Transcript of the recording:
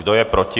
Kdo je proti?